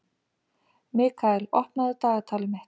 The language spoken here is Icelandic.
Mikkael, opnaðu dagatalið mitt.